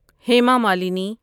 Hema Malini